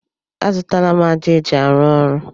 A zụtala m ájá eji arụ ọrụ.